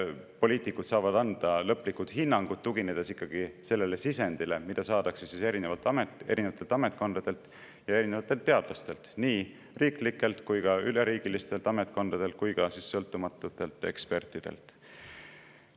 Poliitikud saavad anda lõpliku hinnangu, tuginedes sellele sisendile, mis saadakse ametkondadelt ja teadlastelt, nii riiklikelt kui ka riikideülestelt ametkondadelt ja sõltumatutelt ekspertidelt.